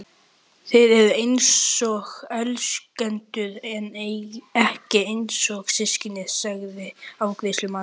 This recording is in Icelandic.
Þið eruð einsog elskendur en ekki einsog systkini, sagði afgreiðslumaðurinn.